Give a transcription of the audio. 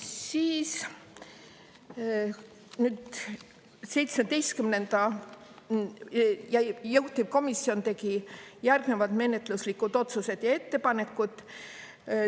Siis nüüd, juhtivkomisjon tegi järgnevad menetluslikud otsused ja ettepanekud.